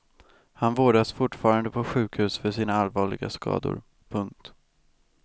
Han vårdas fortfarande på sjukhus för sina allvarliga skador. punkt